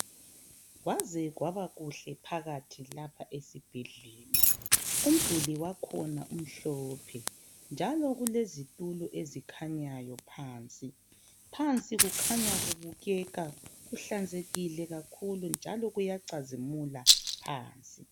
Kwaze kwabakuhle phakathi lapha esibhedlela. Umduli wakhona umhlophe njalo kulezitulo ezikhanyayo phansi. Phansi kukhanya kubukeka kuhlanzekile kakhulu njalo kuyacazimula phansi.